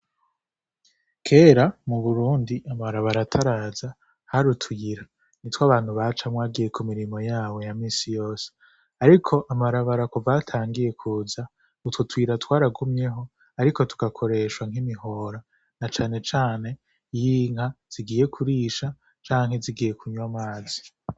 Kera mu burundi amabarabara ataraza hari utuyira ni two abantu baca mwagiye ku mirimo yawe ya misi yose, ariko amabarabara kuvaho atangiye kuza utwo tuyira twaragumyeho, ariko tugakoreshwa nk'imihora na canecane yinka zigiye kurisha canke zigiye kunywa amazi.